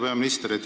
Hea peaminister!